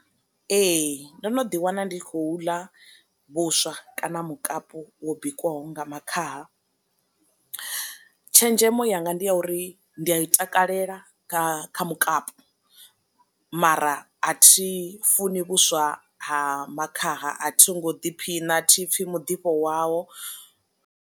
Ee ndo no ḓi wana ndi khou ḽa vhuswa kana mukapu wo bikiwaho nga makhaha. Tshenzhemo yanga ndi ya uri ndi a i takalela nga kha mukapu, mara a thi funi vhuswa ha makhaha a thi ngo ḓi phina thi pfhi muḓifho wawo.